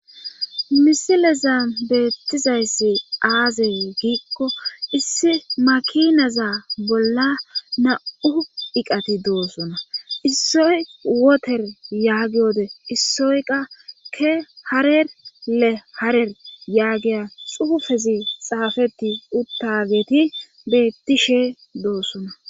Misileza beettizayssi aaze giikko issi makinaza bolla na'u iqati doosona issoy woter yaagiode issoyqa ke harerle harer yaagiya xuufezi xaafeti uttageti beettishe doossona.